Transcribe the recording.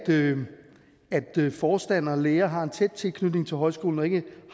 det at forstandere og lærere har en tæt tilknytning til højskolen og ikke